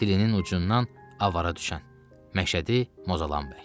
Dilinin ucundan avara düşən Məşədi Mozalan bəy.